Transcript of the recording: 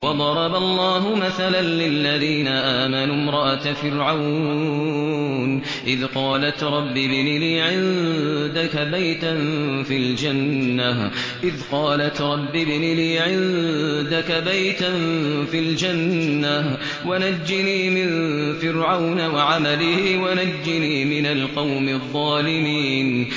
وَضَرَبَ اللَّهُ مَثَلًا لِّلَّذِينَ آمَنُوا امْرَأَتَ فِرْعَوْنَ إِذْ قَالَتْ رَبِّ ابْنِ لِي عِندَكَ بَيْتًا فِي الْجَنَّةِ وَنَجِّنِي مِن فِرْعَوْنَ وَعَمَلِهِ وَنَجِّنِي مِنَ الْقَوْمِ الظَّالِمِينَ